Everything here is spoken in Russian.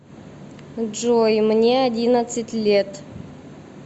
джой мне одиннадцать лет